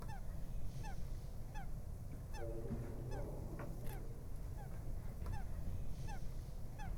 родильный дом номер пять